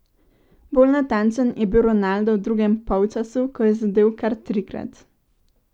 Bolj natančen je bil Ronaldo v drugem polčasu, ko je zadel kar trikrat.